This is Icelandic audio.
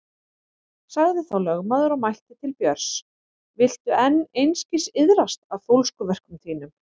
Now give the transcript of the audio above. Sagði þá lögmaður og mælti til Björns: Viltu enn einskis iðrast af fólskuverkum þínum?